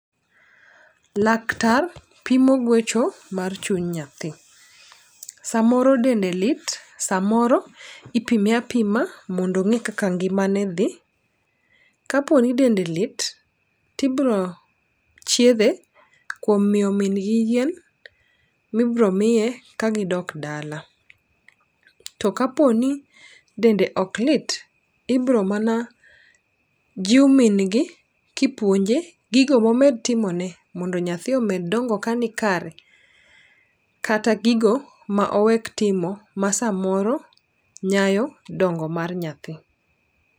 Laktar, pimo gwecho mar chuny nyathi. Samoro dende lit samoro ipimie apima mondo ong'e kaka ngimane dhi. Ka po ni dende lit tibro chiedhe kuom miyo min gi yien mibro miye ka gidok dala. To kapo ni dende ok lit ibro mana, jiw min gi kipuonje gigo momed timone mondo nyathi, omed dongo kani kare, kata gigo ma owek timo ma samoro nyayo dongo mar nyathi.